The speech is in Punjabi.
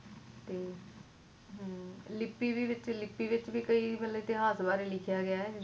ਲਿਪੀ ਵੀ ਵਿੱਚ ਲਿਪੀ ਵਿੱਚ ਵੀ ਕਈ ਇਤਿਹਾਸ ਬਾਰੇ ਲਿਖਿਆ ਗਿਆ ਏ